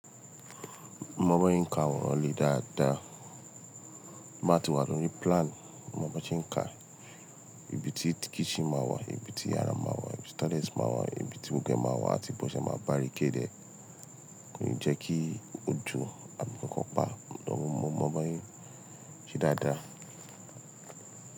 Mo mọ bí wọn se ka aworan lé dáadáa. Máa ti wà lori plan. Mo mọ bí won ká ibi tí kitchen máa wà, ibi tí yàrá máa wà, ibi tí toilets máa wà, ibi tí gbogbo e máa wà àti bó ṣe máa barricade e. Kò n jẹ́ kí ojú àmì kankan pa. But mo mọ mo bí a ṣe n se dáadáa.